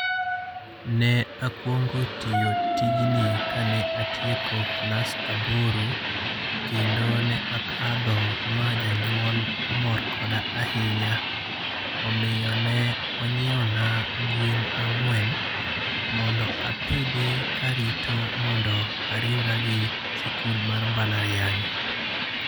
Ne akwongo tiyo tijni ka ne atieko klas aboro. Kendo ne akadho ma janyuol omor koda ahinya. Omiyo ne inyiewo na gwen ang'wen mondo apidhi kaarito mondo ariwra gi sikul mar mbalariany.